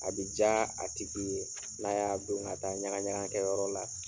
A bɛ diya a tigi ye, n'a y'a don ka taa ɲagaɲaga kɛ yɔrɔ la.